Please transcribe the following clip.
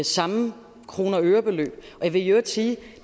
samme kroner og øre beløb jeg vil i øvrigt sige